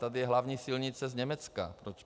Tady je hlavní silnice z Německa.